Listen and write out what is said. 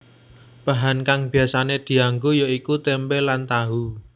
Bahan kang biasané dianggo ya iku tempe lan tahu